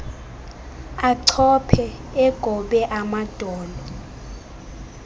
achophe egobe amadolo